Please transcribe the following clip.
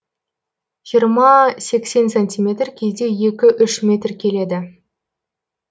жиырма сексен сантиметр кейде екі үш метр келеді